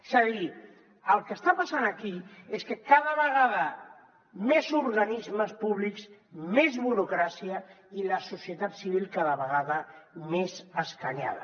és a dir el que està passant aquí és que cada vegada més organismes públics més burocràcia i la societat civil cada vegada més escanyada